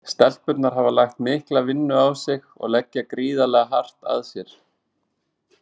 Stelpurnar hafa lagt mikla vinnu á sig og leggja gríðarlega hart að sér.